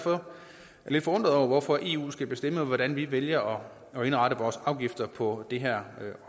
lidt forundret over hvorfor eu skal bestemme hvordan vi vælger at indrette vores afgifter på det her